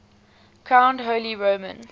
crowned holy roman